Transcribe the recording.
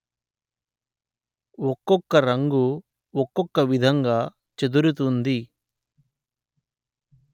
ఒకొక్క రంగు ఒకొక్క విధంగా చెదురుతుంది